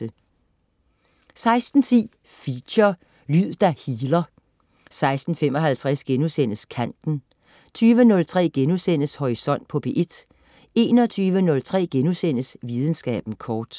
16.10 Feature: Lyd der healer 16.55 Kanten* 20.03 Horisont på P1* 21.03 Videnskaben kort*